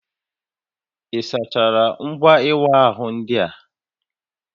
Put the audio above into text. Ị sachaala ngwa ịwa ahụ ndị a?